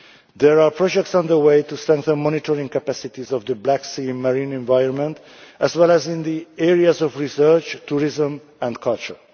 There are projects underway to strengthen monitoring capacities of the Black Sea marine environment as well as in the areas of research, tourism and culture.